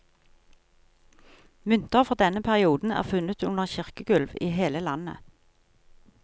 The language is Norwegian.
Mynter fra denne perioden er funnet under kirkegulv i hele landet.